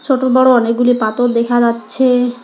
ছোট বড়ো অনেকগুলি পাথর দেখা যাচ্ছে।